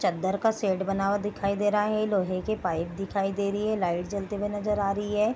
चद्दर का शेड बना हुआ दिखाई दे रहा है लोहे के पाइप दिखाई दे रही है लाइट जलते हुए नजर आ रही है।